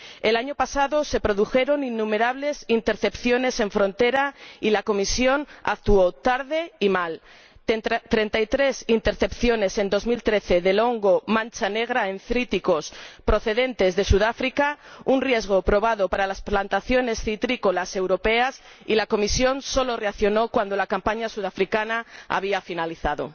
El año pasado se produjeron innumerables intercepciones en frontera y la Comisión actuó tarde y mal. Así, hubo treinta y tres intercepciones en 2013 del hongo mancha negra en cítricos procedentes de Sudáfrica, un riesgo probado para las plantaciones citrícolas europeas, y la Comisión solo reaccionó cuando la campaña sudafricana había finalizado.